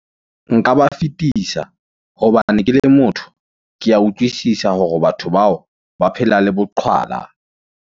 Nka ba fetisa, hobane ke le motho, ke ya utlwisisa hore batho bao ba phela le boqhwala.